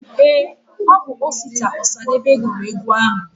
Ee, Obu Osita Osadebe guru egwu ahu.